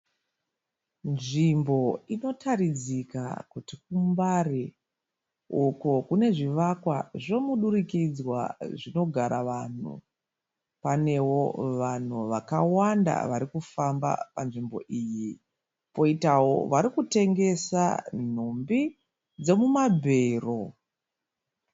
Nzvimbo inotaridzika kuti kuMbare uko kune zvivakwa zvomudurikidzwa zvinogara vanhu. Panevo vanhu vakawanda varikufamba panzvimbo iyi, koitavo varikutengesa nhumbi dzemumabhero.